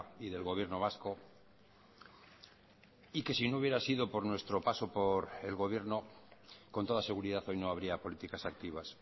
y del gobierno vasco y que si no hubiera sido por nuestro paso por el gobierno con toda seguridad hoy no habría políticas activas